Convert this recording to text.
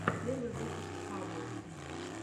первый выпуск хаббл